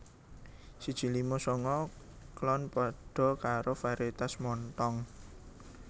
siji lima sanga klon padha karo varietas Montong